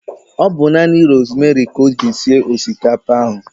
Ọ bu nanị rosmeri ka o ji sie osikapa ahụ